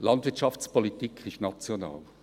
Landwirtschaftspolitik ist national.